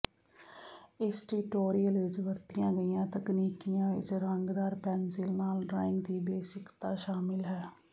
ਇਸ ਟਿਊਟੋਰਿਅਲ ਵਿੱਚ ਵਰਤੀਆਂ ਗਈਆਂ ਤਕਨੀਕੀਆਂ ਵਿੱਚ ਰੰਗਦਾਰ ਪੈਨਸਿਲ ਨਾਲ ਡਰਾਇੰਗ ਦੀ ਬੇਸਿਕਤਾ ਸ਼ਾਮਲ ਹੈ